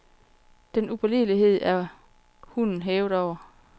Den upålidelighed er hunden hævet over.